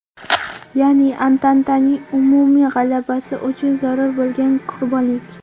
Ya’ni Antantaning umumiy g‘alabasi uchun zarur bo‘lgan qurbonlik.